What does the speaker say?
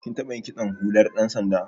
Kin taɓa yin kitson hular ɗan sanda.